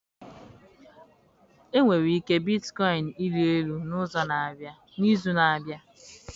nwere ike bitcoin ịrị elu n'izu na-abịa?